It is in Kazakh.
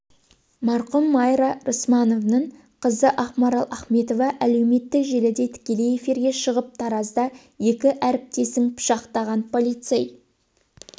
марқұм майра рысмановның қызы ақмарал ахметова әлеуметтік желіде тікелей эфирге шығып таразда екі әріптесін пышақтаған полицей